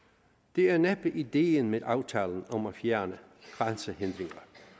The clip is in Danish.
det er næppe ideen med aftalen om at fjerne grænsehindringer